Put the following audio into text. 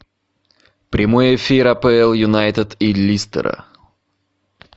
прямой эфир апл юнайтед и лестера